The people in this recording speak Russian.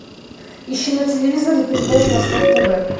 ищи на телевизоре передачу восток тв